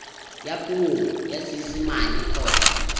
ka puo ya seesimane kgotsa